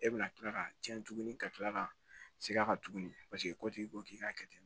E bɛna kila ka cɛn tugun ka tila ka segin a kan tuguni paseke ko tigi ko k'i k'a kɛ ten